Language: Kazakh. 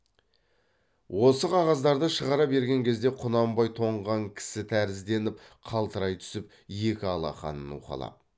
осы қағаздарды шығара берген кезде құнанбай тоңған кісі тәрізденіп қалтырай түсіп екі алақанын уқалап